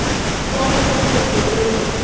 Leggur handlegginn yfir mig.